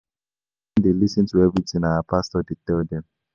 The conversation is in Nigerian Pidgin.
My parents dey lis ten to everything our pastor dey tell dem